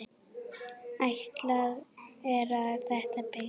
Áætlað er að þétta byggð.